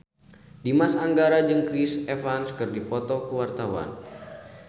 Dimas Anggara jeung Chris Evans keur dipoto ku wartawan